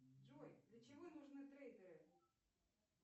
джой для чего нужны трейдеры